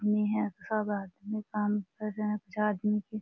मी हैं सब आदमी काम कर रहे हैं कुछ आदमी के --